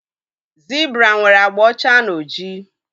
Zibra nwere agba ọcha na ojii.